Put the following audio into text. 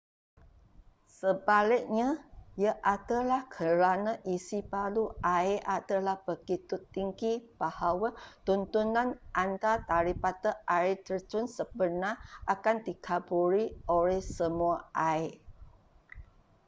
sebaliknya ia adalah kerana isipadu air adalah begitu tinggi bahawa tontonan anda daripada air terjun sebenar akan dikaburi oleh semua air